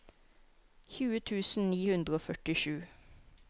tjue tusen ni hundre og førtisju